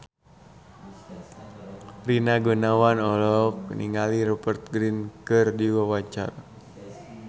Rina Gunawan olohok ningali Rupert Grin keur diwawancara